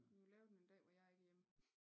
Du må lave den en dag hvor jeg ikke er hjemme